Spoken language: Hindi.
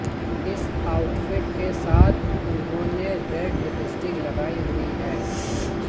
इस आउटफिट के साथ उन्होंने रेड लिपस्टिक लगाईं हुई है